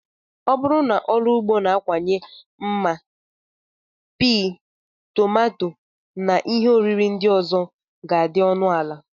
Ọ bụrụ na ọrụ ugbo na-akawanye mma, pii, tomato, na ihe oriri ndị ọzọ ga-adị ọnụ ala.